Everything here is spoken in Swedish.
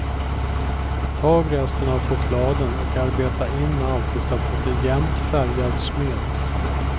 Tag resten av chokladen och arbeta in allt tills du har en jämnt färgad smet.